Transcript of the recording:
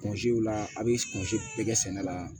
Mansinw la a' bɛ kun bɛɛ kɛ sɛnɛ la